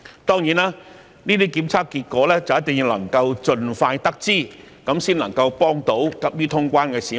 當然，這些檢測結果一定要盡快得知，才能夠幫助急於過關的市民。